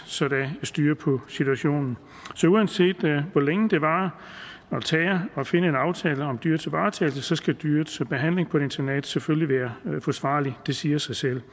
så der er styr på situationen så uanset hvor længe det varer at finde en aftale om dyrets varetagelse skal dyrets behandling på et internat selvfølgelig være forsvarligt det siger sig selv